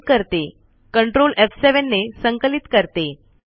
save करते ctrl एफ7 ने संकलित करते